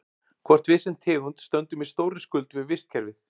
Hvort við sem tegund stöndum í stórri skuld við vistkerfið?